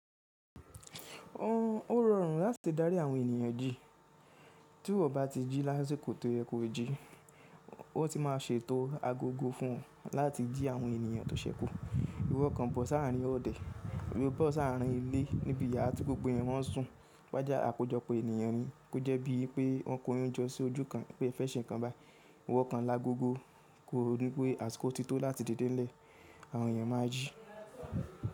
Ó rọrùn láti dárí àwọn ènìyàn jí. Tí ìwọ bá ti jí lásìkò tó yẹ kó jí, ó ti máa ṣe ètò agogo fún ọ láti jí àwọn ènìyàn tó sẹ́kù. Iwọ kan bọ sáá rín ọdẹ, ìwé bọ sáá rín ilé níbi yàrá tí gbogbo Ènìyàn mọ́n sùn. Wá jé àkójọpọ̀ ènìyàn ní kó jẹ́ bí i pé wọ́n kò yín jọ sí ojú kan pé é fẹ́ ṣe nǹkan bai. Iwọ kan lágo gogo kó o ní pé àsìkò ti tó láti didé nilè, àwọn ènìyàn máa jí.